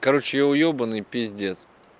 короче я уёбанный пиздец